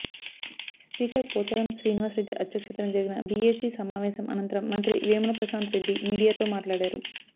speaker Pocharam Srinivas Reddy అధ్యక్షతన జరిగిన BAC సమావేశం అనంతరం మంత్రి వేముల ప్రశాంత్ రెడ్డి మీడియాతో మాట్లాడారు